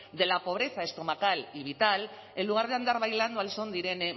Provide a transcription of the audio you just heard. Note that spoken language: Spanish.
de la pobreza estomacal y vital en lugar de andar bailando al son irene